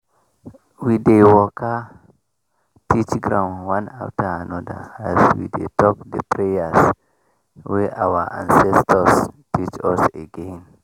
we dey waka touch ground one after another as we dey talk the prayers wey our ancestors teach us again.